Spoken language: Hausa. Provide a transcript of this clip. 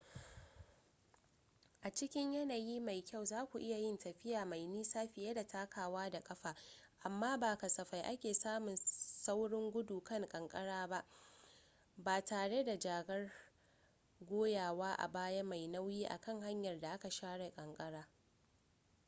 a cikin yanayi mai kyau zaku iya yin tafiya mai nisa fiye da takawa da ƙafa amma ba kasafai ake samun saurin gudu kan kankara ba tare da jakar goyawa a baya mai nauyi a kan hanyar da aka share ƙanƙara